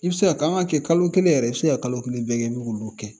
I bɛ se ka kɛ kalo kelen yɛrɛ i se ka kalo kelen bɛɛ kɛ i bɛ k'olu kɛ